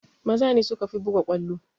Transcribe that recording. Maza ne sukafi buga ƙwallo